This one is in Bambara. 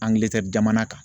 jamana kan.